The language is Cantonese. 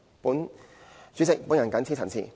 代理主席，我謹此陳辭。